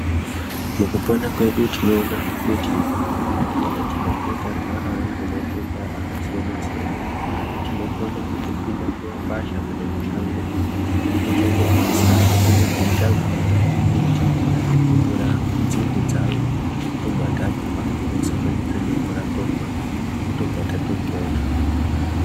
Mukupona kwedu tinoona kuti kana tikange tarwarawo ngematenda akasiyana-siyana tinokona kutopinda mumakwasha Kana mushango totonobvita mbiti totora nzvinde dzayo tobva tatwa tosanganida nemvura tomwa tobva tatopona.